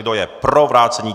Kdo je pro vrácení?